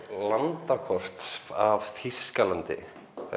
landakort af Þýskalandi